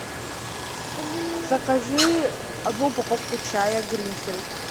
закажи одну упаковку чая гринфилд